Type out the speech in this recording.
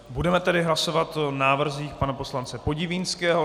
Budeme tedy hlasovat o návrzích pana poslance Podivínského.